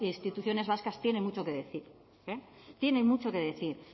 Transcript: instituciones vascas tienen mucho que decir tienen mucho que decir